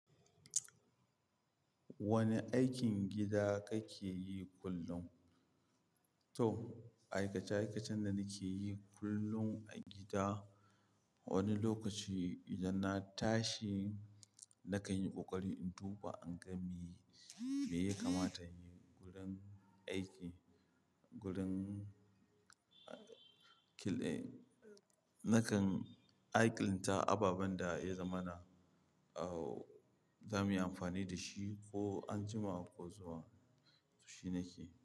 Wane aikin gida kake yi kullum? To, aikace-aikacen da nake yi kullum a gida, wani lokaci idan na tashi nakan yi ƙoƙari in duba in ga me ya kamata in yi. Gurin aiki, gurin nakan alƙinta ababen da ya zama na, au, za mu yi amfani da shi ko anjima ko zuwa, shi ne ke.